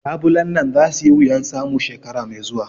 Labulen nan za su yi wuyan samu shekara mai zuwa